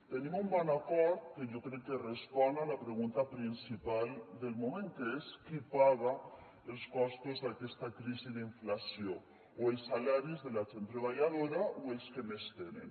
tenim un bon acord que jo crec que respon a la pregunta principal del moment que és qui paga els costos d’aquesta crisi d’inflació o els salaris de la gent treballadora o els que més tenen